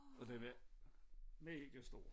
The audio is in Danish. Og den var megastor